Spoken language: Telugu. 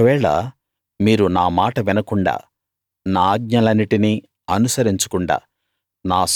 ఒకవేళ మీరు నా మాట వినకుండా నా ఆజ్ఞలన్నిటినీ అనుసరించకుండా